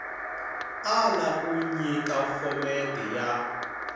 ala ku nyika phomete ya